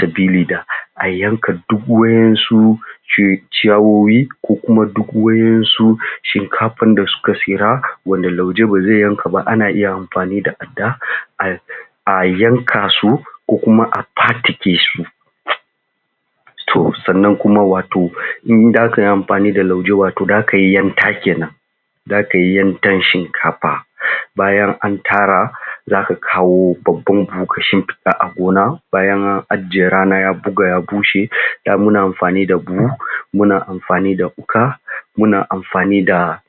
sabili da a yanka duk wayen su cu ciyawoyi ko kuma duk wayen su Shinkafa da suka fira wanda Lauje ba zai yanka ba ana iya amfani da Adda a a yanka su ko kuma a fatike su to sannan kuma wato in zaka yi amfani da Lauje wato zaka yi yanka kenan zaka yi yanka Shinkafa bayan an tara zaka kawo babban Buhu ka shinfiɗa a gona bayan an ajjiye rana ya buga ya bushe da muna amfani da Buhu muna amfani da Wuƙa muna amfani da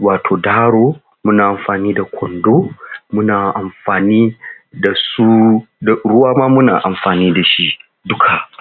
wato Daro muna amfani da Kwando muna amfani dasu Ruwa ma muna amfani dashi duka